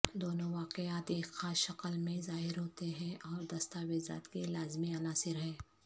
دونوں واقعات ایک خاص شکل میں ظاہر ہوتے ہیں اور دستاویزات کے لازمی عناصر ہیں